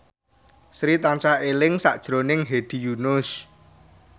Sri tansah eling sakjroning Hedi Yunus